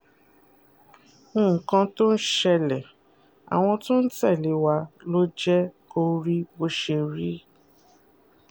nǹkan tó ń ṣẹlẹ̀ àwọn tó ń tẹ̀lé wa ló jẹ́ kó rí bó ṣe rí